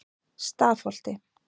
Stafholti